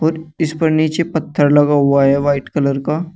इस पर नीचे पत्थर लगा हुआ है वाइट कलर का।